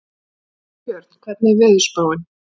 Sigurbjörn, hvernig er veðurspáin?